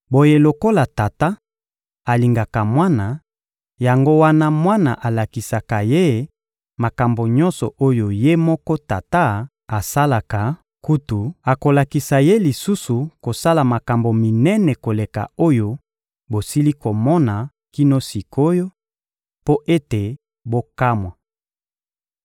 Boye lokola Tata alingaka Mwana, yango wana alakisaka Ye makambo nyonso oyo Ye moko Tata asalaka; kutu, akolakisa Ye lisusu kosala makambo minene koleka oyo bosili komona kino sik’oyo, mpo ete bokamwa.